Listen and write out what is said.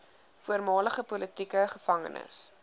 voormalige politieke gevangenes